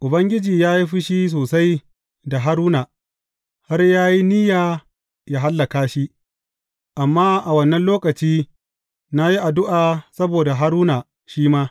Ubangiji ya yi fushi sosai da Haruna, har ya yi niyya yă hallaka shi, amma a wannan lokaci, na yi addu’a saboda Haruna shi ma.